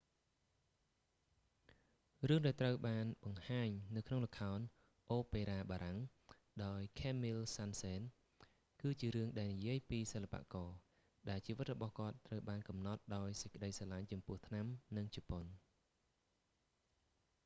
រឿង ដែលត្រូវបានបង្ហាញនៅក្នុងល្ខោនអូប៉េរ៉ាបារាំងដោយខេមមីល សាន់សេន camille saint-saens គឺជារឿងដែលនិយាយពីសិល្បករ ដែលជីវិតរបស់គាត់ត្រូវបានកំណត់ដោយសេចក្តីស្រឡាញ់ចំពោះថ្នាំ និង ជប៉ុន